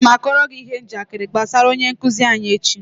Aga m kọọrọ gi ihe njakịrị gbasara onye nkuzi anyi echi